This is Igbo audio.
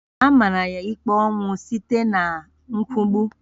A mara ya ikpe ọnwụ site n'ịkwụgbu